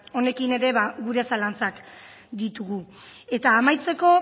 honekin ere ba gure zalantzak ditugu eta amaitzeko